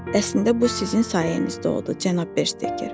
Əslində bu sizin sayənizdə oldu, cənab Bersteker.